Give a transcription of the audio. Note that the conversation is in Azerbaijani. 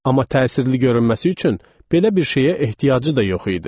Amma təsirli görünməsi üçün belə bir şeyə ehtiyacı da yox idi.